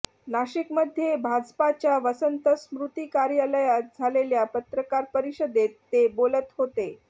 नाशिकमध्ये भाजपाच्या वसंत स्मृती कार्यालयात झालेल्या पत्रकार परिषदेत ते बोलत होते